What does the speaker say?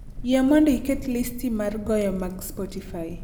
Yie mondo iket listi mar goyo mag spotify